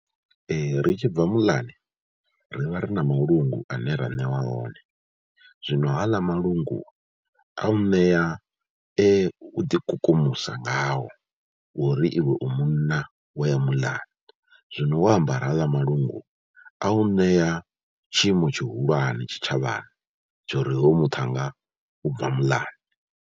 Ri tshi bva muḽani ri vha ri na malungu ane ra ṋewa one, zwino ha aḽa malungu a nṋea u ḓikukumusa ngawo uri iwe u munna wo ya muḽani, zwino wo ambara ha aḽa malungu a u ṋea tshiimo tshihulwane tshitshavhani tsha uri hoyu muṱhannga u bva muḽani.